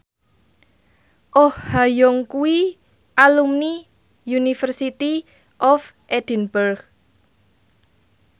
Oh Ha Young kuwi alumni University of Edinburgh